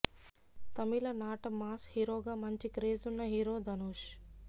తమిళ నాట మాస్ హీరోగా మంచి క్రేజ్ ఉన్న హీరో ధనుష్